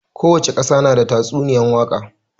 Kowace ƙasa na da tatsuniyan waka